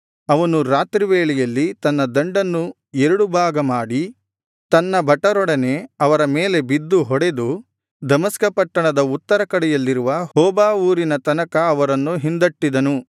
ಅವನು ರಾತ್ರಿ ವೇಳೆಯಲ್ಲಿ ತನ್ನ ದಂಡನ್ನು ಎರಡು ಭಾಗಮಾಡಿ ತನ್ನ ಭಟರೊಡನೆ ಅವರ ಮೇಲೆ ಬಿದ್ದು ಹೊಡೆದು ದಮಸ್ಕ ಪಟ್ಟಣದ ಉತ್ತರಕಡೆಯಲ್ಲಿರುವ ಹೋಬಾ ಊರಿನ ತನಕ ಅವರನ್ನು ಹಿಂದಟ್ಟಿದ್ದನು